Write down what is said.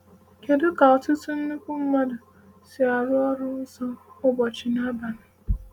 Kedu ka ‘ọtụtụ nnukwu mmadụ’ si arụ ‘ọrụ nsọ ụbọchị na abalị’?